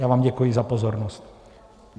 Já vám děkuji za pozornost.